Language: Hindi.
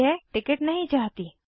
मैं यह टिकिट नहीं चाहती